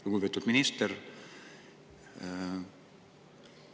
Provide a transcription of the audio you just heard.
Lugupeetud minister!